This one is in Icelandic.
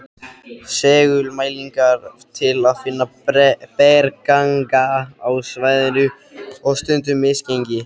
Segulmælingar til að finna bergganga á svæðinu og stundum misgengi.